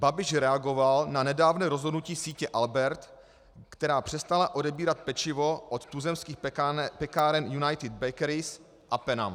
Babiš reagoval na nedávné rozhodnutí sítě Albert, která přestala odebírat pečivo od tuzemských pekáren United Bakeries a Penam.